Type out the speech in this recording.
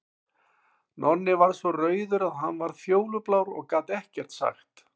Nonni varð svo rauður að hann varð fjólublár og gat ekkert sagt.